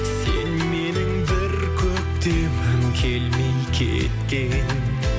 сен менің бір көктемім келмей кеткен